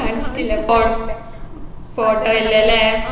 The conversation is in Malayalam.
കാണിച്ചിട്ടില്ല ഫോ photo ഇല്ലല്ലേ